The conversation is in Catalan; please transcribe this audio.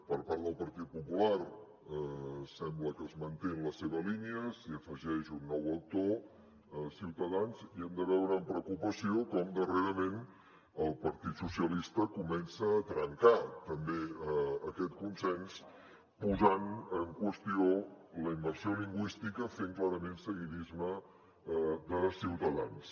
per part del partit popular sembla que es manté en la seva línia s’hi afegeix un nou actor ciutadans i hem de veure amb preocupació com darrerament el partit socialistes comença a trencar també aquest consens posant en qüestió la immersió lingüística fent clarament seguidisme de ciutadans